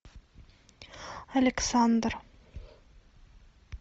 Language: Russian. александр